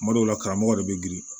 Tuma dɔw la karamɔgɔ yɛrɛ bɛ girin